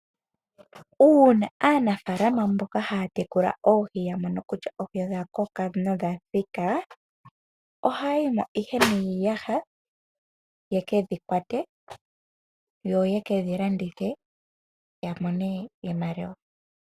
Uuna aanafaalama mboka haya tekula oohi ya mono kutya odha koka nodha thika. Ohaya yimo ihe niiyaha yeke dhi kwate yo ye kedhi landithe ya mone iimaliwa.